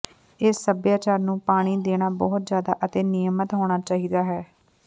ਇਸ ਸਭਿਆਚਾਰ ਨੂੰ ਪਾਣੀ ਦੇਣਾ ਬਹੁਤ ਜ਼ਿਆਦਾ ਅਤੇ ਨਿਯਮਤ ਹੋਣਾ ਚਾਹੀਦਾ ਹੈ